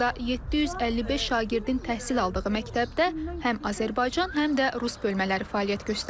Hazırda 755 şagirdin təhsil aldığı məktəbdə həm Azərbaycan, həm də rus bölmələri fəaliyyət göstərir.